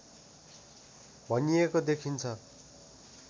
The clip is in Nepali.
भनिएको देखिन्छ